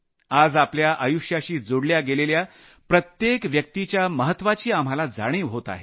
आज आपल्या आयुष्याशी जोडल्या गेलेल्या प्रत्येक व्यक्तिच्या महत्वाची आपल्याला जाणीव होत आहे